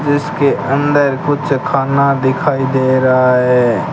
जिसके अंदर कुछ खाना दिखाई दे रहा है।